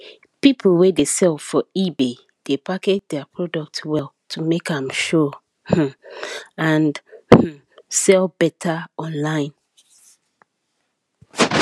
people wey dey sell for ebay dey package their product well to make am show um and um sell better online